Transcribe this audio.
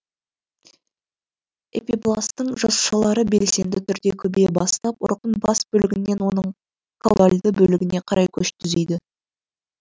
эпибластың жасушалары белсенді түрде көбейе бастап ұрықтың бас бөлігінен оның каудальды бөлігіне қарай көш түзейді